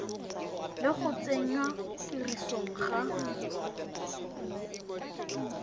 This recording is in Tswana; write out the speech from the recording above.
le go tsenngwa tirisong ga